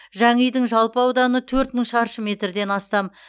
жаңа үйдің жалпы ауданы төрт мың шаршы метрден астам